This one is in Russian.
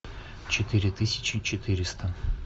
четыре тысячи четыреста